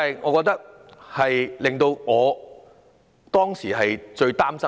我覺得這是我最擔心的。